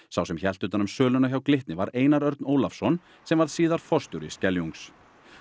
sá sem hélt utan um söluna hjá Glitni var Einar Örn Ólafsson sem varð síðar forstjóri Skeljungs